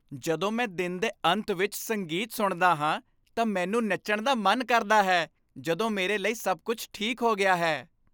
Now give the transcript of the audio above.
ਜਦੋਂ ਮੈਂ ਦਿਨ ਦੇ ਅੰਤ ਵਿੱਚ ਸੰਗੀਤ ਸੁਣਦਾ ਹਾਂ ਤਾਂ ਮੈਨੂੰ ਨੱਚਣ ਦਾ ਮਨ ਕਰਦਾ ਹੈ ਜਦੋਂ ਮੇਰੇ ਲਈ ਸਭ ਕੁੱਝ ਠੀਕ ਹੋ ਗਿਆ ਹੈ।